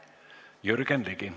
Jürgen Ligi.